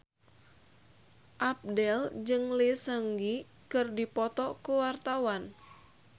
Abdel jeung Lee Seung Gi keur dipoto ku wartawan